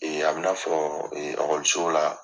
Ee a bi na fɔ la